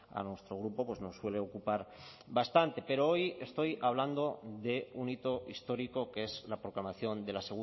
a nuestro grupo nos suele ocupar bastante pero hoy estoy hablando de un hito histórico que es la proclamación de la